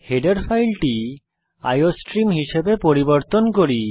header ফাইলটি iostream হিসাবে পরিবর্তন করি